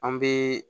An bɛ